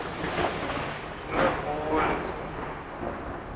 иннополисом